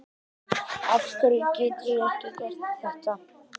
afhverju get ég ekki gert þetta